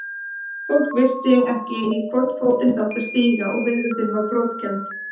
Fólk vissi ekki í hvorn fótinn það átti að stíga og veröldin var brotakennd.